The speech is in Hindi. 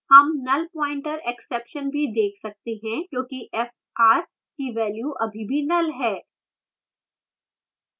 हम nullpointerexception भी देख सकते हैं क्योंकि fr की value अभी भी नल है